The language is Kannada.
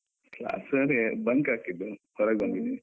Class ಅಲ್ಲಿ bunk ಹಾಕಿದ್ದು, ಹೊರಗ್ ಬಂದಿದೀನಿ.